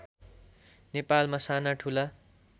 नेपालमा साना ठुला